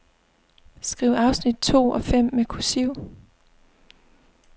Skriv afsnit to og fem med kursiv.